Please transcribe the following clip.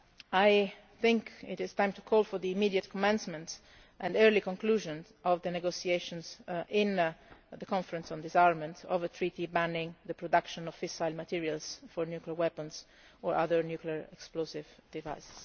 I think it is time to call for the immediate commencement and early conclusion of the negotiations, in the Conference on Disarmament, on a treaty banning the production of fissile materials for nuclear weapons or other nuclear explosive devices.